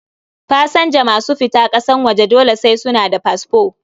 Pasanja masu fita ƙasan waje dole sai suna da fasfo